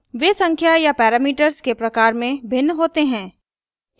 वे संख्या या parameters के प्रकार में भिन्न होते हैं